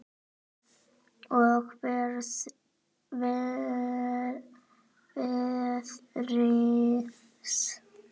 Og veðrið.